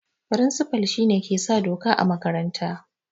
Firinsifa shine ke sa doka a makaranta